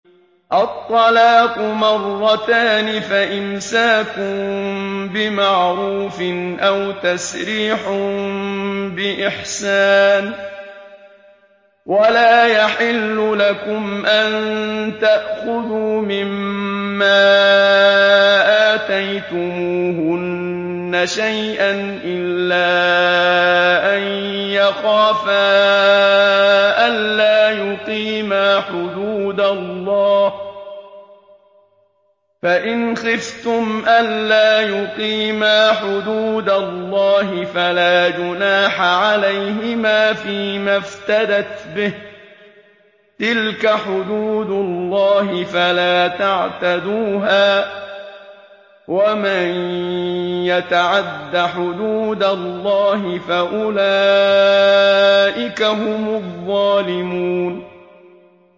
الطَّلَاقُ مَرَّتَانِ ۖ فَإِمْسَاكٌ بِمَعْرُوفٍ أَوْ تَسْرِيحٌ بِإِحْسَانٍ ۗ وَلَا يَحِلُّ لَكُمْ أَن تَأْخُذُوا مِمَّا آتَيْتُمُوهُنَّ شَيْئًا إِلَّا أَن يَخَافَا أَلَّا يُقِيمَا حُدُودَ اللَّهِ ۖ فَإِنْ خِفْتُمْ أَلَّا يُقِيمَا حُدُودَ اللَّهِ فَلَا جُنَاحَ عَلَيْهِمَا فِيمَا افْتَدَتْ بِهِ ۗ تِلْكَ حُدُودُ اللَّهِ فَلَا تَعْتَدُوهَا ۚ وَمَن يَتَعَدَّ حُدُودَ اللَّهِ فَأُولَٰئِكَ هُمُ الظَّالِمُونَ